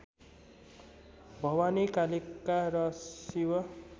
भवानी कालिका र शिव